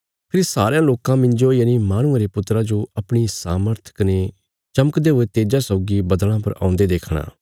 फेरी सारयां लोकां मिन्जो यनि माहणुये रे पुत्रा जो अपणी सामर्थ कने चमकदे हुये तेज्जा सौगी बद्दल़ां पर औंदे देखणा